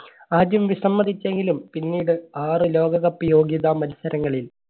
ആദ്യം വിസമ്മതിച്ചെങ്കിലും പിന്നീട് ആറ് ലോകകപ്പ് യോഗ്യത മത്സരങ്ങളിൽ